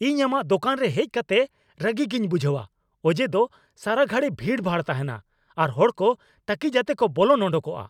ᱤᱧ ᱟᱢᱟᱜ ᱫᱳᱠᱟᱱ ᱨᱮ ᱦᱮᱡ ᱠᱟᱛᱮ ᱨᱟᱹᱜᱤ ᱜᱮᱧ ᱵᱩᱡᱷᱟᱹᱣᱟ ᱚᱡᱮ ᱫᱚ ᱥᱟᱨᱟ ᱜᱷᱟᱹᱲᱤ ᱵᱷᱤᱲᱼᱵᱷᱟᱲ ᱛᱟᱦᱮᱱᱟ ᱟᱨ ᱦᱚᱲ ᱠᱚ ᱛᱟᱹᱠᱤᱡ ᱟᱛᱮ ᱠᱚ ᱵᱚᱞᱚᱱ ᱚᱰᱳᱠᱚᱜᱼᱟ ᱾